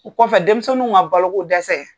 O kɔfɛ denmisɛnninw ŋa baloko dɛsɛ